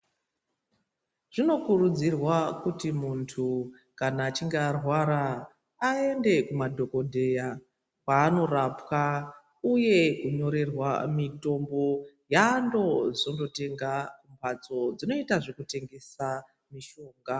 Zvinokurudzirwa kuti muntu kana achinge arwara aende kumadhokodheya kwaanorapwa uye kunyorerwa mitombo yaanozonotenga kumhatso dzinoita zvekutengesa mishonga/mitombo.